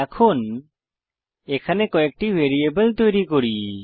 এখন এখানে কয়েকটি ভ্যারিয়েবল তৈরি করি